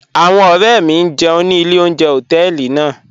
Awọn ọ̀rẹ̀ mi n jẹun ni ilẹ̀ ọ̀unjẹ̀ họtẹẹlì naa.